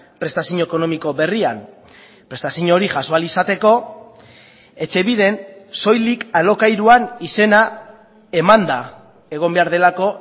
prestazio ekonomiko berrian prestazio hori jaso ahal izateko etxebiden soilik alokairuan izena emanda egon behar delako